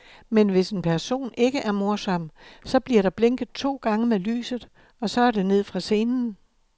Men hvis en person ikke er morsom, så bliver der blinket to gange med lyset, og så er det ned fra scenen.